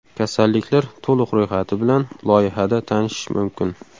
Kasalliklar to‘liq ro‘yxati bilan loyiha da tanishish mumkin.